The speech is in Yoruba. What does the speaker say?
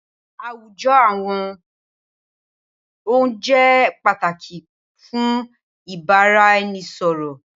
Awujo awọn oun jẹ pataki fun ibaraẹnisọrọ.